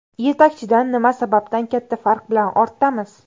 Yetakchidan nima sababdan katta farq bilan ortdamiz?